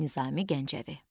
Nizami Gəncəvi.